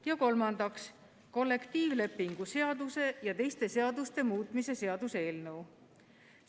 Ja kolmandaks, kollektiivlepingu seaduse ja teiste seaduste muutmise seaduse eelnõu.